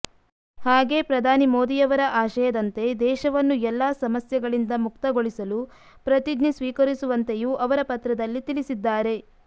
ಹಾಗೇ ಪ್ರಧಾನಿ ಮೋದಿ ಯವರ ಆಶಯದಂತೆ ದೇಶವನ್ನು ಎಲ್ಲ ಸಮಸ್ಯೆಗಳಿಂದ ಮುಕ್ತಗೊಳಿಸಲು ಪ್ರತಿಜ್ಞೆ ಸ್ವೀಕರಿಸು ವಂತೆಯೂ ಅವರು ಪತ್ರದಲ್ಲಿ ತಿಳಿಸಿದ್ದಾರೆ